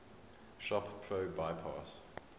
shop pro bypass